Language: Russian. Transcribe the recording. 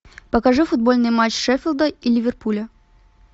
покажи футбольный матч шеффилда и ливерпуля